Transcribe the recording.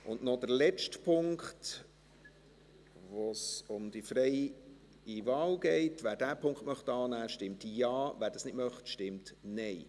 Und noch der letzte Punkt, bei dem es um die freie Wahl geht: Wer diesen Punkt annehmen will, stimmt Ja, wer das nicht möchte, stimmt Nein.